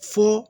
Fɔ